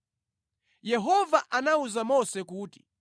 Yehova anawuza Mose kuti,